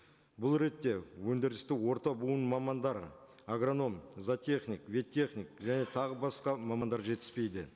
бұл ретте өндірісті орта буын мамандары агроном зоотехник вет техник және тағы басқа мамандар жетіспейді